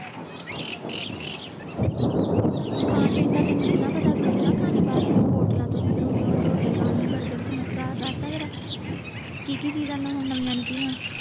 ਖਾਣ ਪੀਣ ਦਾ ਤੈਨੂੰ ਕਿੰਨਾ ਪਤਾ ਟੁੱਕਣ ਕਿੰਨਾ ਖਾਣੀ ਬਾਹਰੋਂ ਹੋਟਲਾਂ ਤੋਂ ਏਧਰੋਂ ਉਧਰੋਂ ਰੋਟੀ ਪਾਣੀ ਸਮੋਸਾ ਦਸ ਤਾਂ ਜਰਾ ਕਿ ਕਿ ਚੀਜ਼ਾਂ ਹੁਣ ਨਵੀਆਂ ਨਿਕਲੀਏਂ